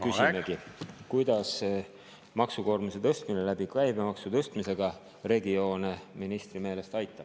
Küsimegi, kuidas maksukoormuse tõstmine käibemaksu tõstmise kaudu regioone ministri meelest aitab.